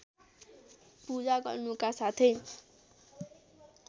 पूजा गर्नुका साथै